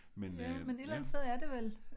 Ja men et eller andet sted er det vel